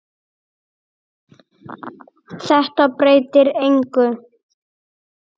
Þetta breytir engu.